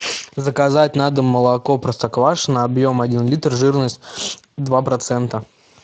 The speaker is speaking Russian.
заказать на дом молоко простоквашино объем один литр жирность два процента